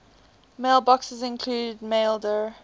mailboxes include maildir